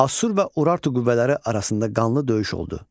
Assur və Urartu qüvvələri arasında qanlı döyüş oldu.